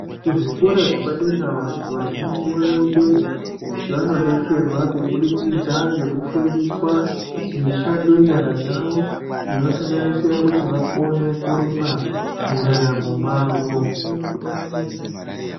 Kuzvikora zvepadera vantu vazhinji vanoenda kuti vanodetserwa kubidikidza nekufundiswa mishando yenyara dzavo inosanganisira kuti vakone kurima mundaramo mwavo.